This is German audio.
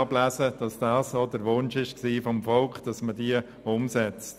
Dies entspricht dem deutlichen Willen und dem Wunsch des Volkes.